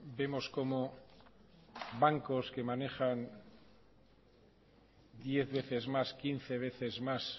vemos cómo bancos que manejan diez veces más quince veces más